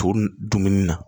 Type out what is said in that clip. To dumuni na